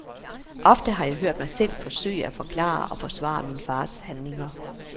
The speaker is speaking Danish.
Ofte har jeg hørt mig selv forsøge at forklare og forsvare min fars handlinger.